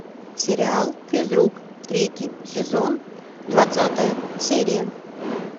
сериал физрук третий сезон двадцатая серия